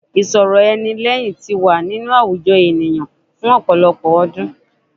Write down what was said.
Ìsọ̀rọ̀ ẹni lẹ́hìn ti wà ní inú àwùjọ ènìyàn fún ọ̀pọ̀lọpọ̀ ọ̀rúndún.